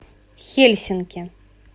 хельсинки